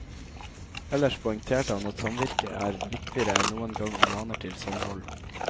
Ellers poengterte han at samvirket er viktigere enn noen gang og maner til samhold.